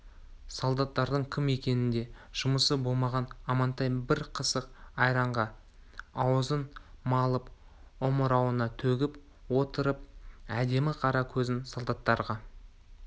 солдаттардың кім екенінде жұмысы болмаған амантай бір қасық айранға аузын малып омырауына төгіп отырып әдемі қара көзін солдаттарға